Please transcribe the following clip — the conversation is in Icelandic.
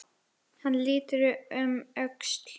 Hann lítur um öxl, feginn.